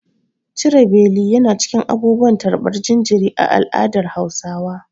Cire beli yana cikin abubuwan tarbar jinjiri a al'adar Hausawa.